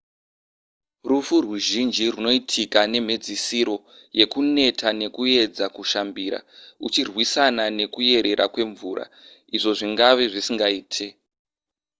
rufu ruzhinji rwunoitika nemhedzisiro yekuneta nekuedza kushambira uchirwisana nekuyerera kwemvura izvo zvingave zvisingaite